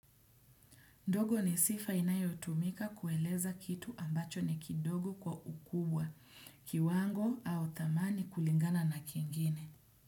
Ndogo ni sifa inayotumika kueleza kitu ambacho ni kidogo kwa ukubwa kiwango au dhamani kulingana na kingine.